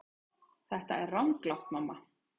Þetta er ranglátt mamma.